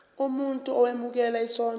umuntu owemukela isondlo